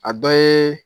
A dɔ ye